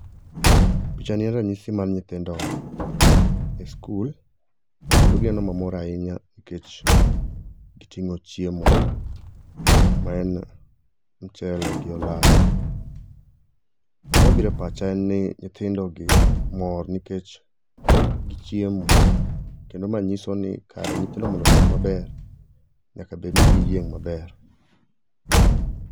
Pichani en ranyisi ni nyithindo ni skul kendo gineno mamor ahinya nikech giting'o chiemo ma en mchele gi olayo. Gima biro e pacha en ni nyithindogi mor nikech gichiemo, kendo ma nyiso ni kare nyithindo mondo osom maber, nyaka bed ni giyieng' maber.